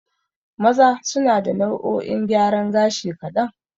Maza suna da nau'o'in gyaran gashi kaɗan.